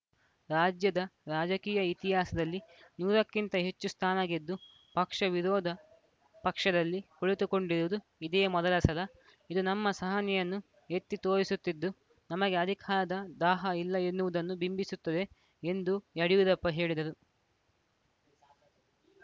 ರಾಜ್ಯದ ರಾಜಕೀಯ ಇತಿಹಾಸದಲ್ಲಿ ನೂರಕ್ಕಿಂತ ಹೆಚ್ಚು ಸ್ಥಾನ ಗೆದ್ದು ಪಕ್ಷ ವಿರೋಧ ಪಕ್ಷದಲ್ಲಿ ಕುಳಿತುಕೊಂಡಿರುವುದು ಇದೇ ಮೊದಲ ಸಲ ಇದು ನಮ್ಮ ಸಹನೆಯನ್ನು ಎತ್ತಿ ತೋರಿಸುತ್ತಿದ್ದು ನಮಗೆ ಅಧಿಕಾರದ ದಾಹ ಇಲ್ಲ ಎನ್ನುವುದನ್ನು ಬಿಂಬಿಸುತ್ತದೆ ಎಂದು ಯಡಿಯೂರಪ್ಪ ಹೇಳಿದರು